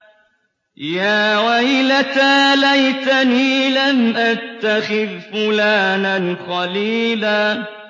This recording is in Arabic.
يَا وَيْلَتَىٰ لَيْتَنِي لَمْ أَتَّخِذْ فُلَانًا خَلِيلًا